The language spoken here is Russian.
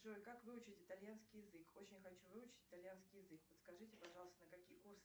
джой как выучить итальянский язык очень хочу выучить итальянский язык подскажите пожалуйста на какие курсы